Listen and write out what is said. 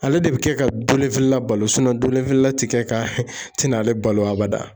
Ale de bɛ kɛ ka dolen feerela balo la tɛ kɛ ka tɛna ale balo abada.